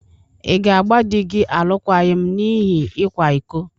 Ị̀ ga-agba di gị alụkwaghịm n’ihi ịkwa iko?